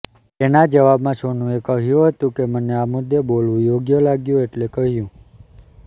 તેના જવાબમાં સોનુએ કહ્યું હતું કે મને આ મુદ્દે બોલવું યોગ્ય લાગ્યું એટલે કહ્યું